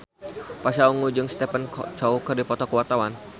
Pasha Ungu jeung Stephen Chow keur dipoto ku wartawan